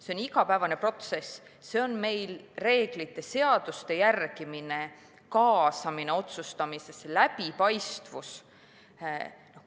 See on igapäevane protsess, see on reeglite, seaduste järgimine, kaasamine otsustamisse, läbipaistvus.